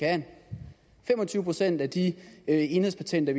han fem og tyve procent af de enhedspatenter